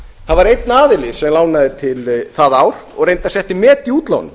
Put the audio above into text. það var einn aðili sem lánaði það ár og setti met í útlánum